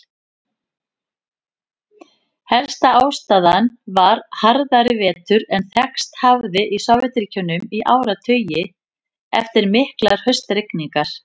Helsta ástæðan var harðari vetur en þekkst hafði í Sovétríkjunum í áratugi, eftir miklar haustrigningar.